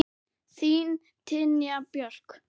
Þín, Tanja Björk.